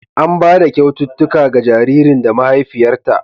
An ba da kyaututtuka ga jaririn da mahaifiyarta.